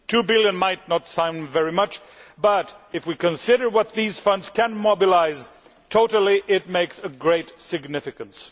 Two billion might not sound very much, but if we consider what these funds can mobilise overall, it is very significant.